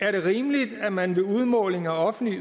er det rimeligt at man ved udmåling af offentlige